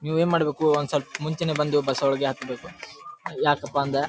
ನೀವು ಏನ್ ಮಾಡಬೇಕು ಒಂದ್ ಸ್ವಲ್ಪ ಮುಂಚೆನೇ ಬಂದು ಬಸ್ಸೊ ಳಗೆ ಹತ್ಬೇಕು ಯಾಕಪ್ಪ ಅಂದ್ರೆ --